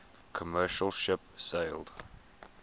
commercial ship sailed